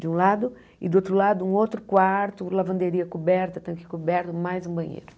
De um lado e do outro lado um outro quarto, lavanderia coberta, tanque coberto, mais um banheiro.